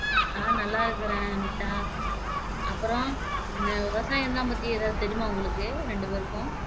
நல்லா இருக்கிறேன் அனிதா அப்பறம் விவசாயம்லாம் பத்தி ஏதாவது தெரியுமா உங்களுக்கு ரெண்டு பேருக்கும்